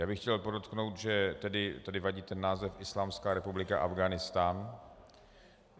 Já bych chtěl podotknout, že tedy vadí ten název Islámská republika Afghánistán.